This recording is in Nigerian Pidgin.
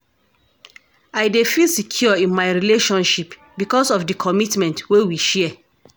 I dey feel secure in my relationship because of di commitment wey we share.